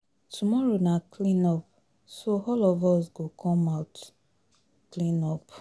Tomorrow na clean up so all of us go come out clean up